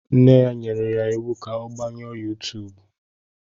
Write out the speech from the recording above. Nne ya nyere ya iwu ka ọ gbanyụọ yuutubu.